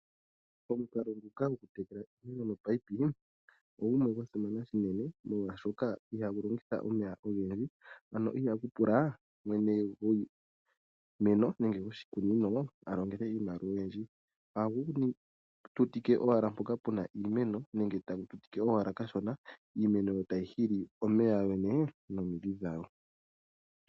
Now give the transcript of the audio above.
Omukalo ngoka gokutekela iimeno nopaipi oogumwe gwa simana shinene, molwaashoka ihagu longitha omeya ogendji. Ano ihagu pula mwene gwiimeno nenge gwoshikunino a longele iimaliwa oyindji. Ohagu tutike owala mpoka puna iimeno nenge tagu tutike owala kashona, iimeno tayi hili omeya nomindhi dhawo.